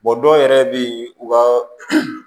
dɔw yɛrɛ bɛ yen u ka